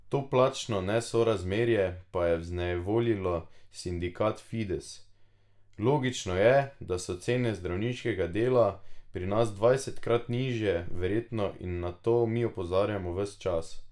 To plačno nesorazmerje pa je vznejevoljilo sindikat Fides: "Logično je, da so cene zdravniškega dela pri nas dvajsetkrat nižje verjetno in na to mi opozarjamo ves čas.